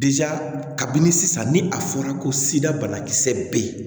kabini sisan ni a fɔra ko sira banakisɛ bɛ yen